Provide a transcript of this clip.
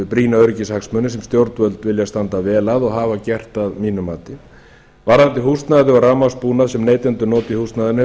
brýna öryggishagsmuni sem stjórnvöld vilja standa vel að og hafa gert að mínu mati varðandi húsnæði og rafmagnsbúnað sem neytendur nota í húsnæðinu hefur þróunarfélagi